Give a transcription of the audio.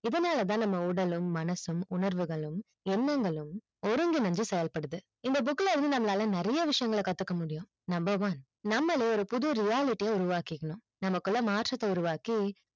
இதனால தான் நம்ம உடலும் மனசும் உணவுர்களும் எண்ணங்களும் ஒருங்கின்று செயல்படுது இந்த book ல இருந்து நம்மால நிறைய விஷியங்கள் கத்துக்க முடியும் number one நம்மாலே ஒரு புதிய reality உருவாக்கினும் நம்மகுள்ள ஒரு மாற்றத்தை உருவாக்கி